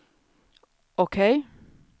OK